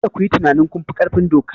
Kada ku yi tunanin kun fi ƙarfin doka!